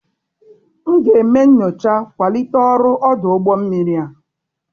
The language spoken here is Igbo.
M ga-eme nyocha kwalite ọrụ ọdụ ụgbọ mmiri a.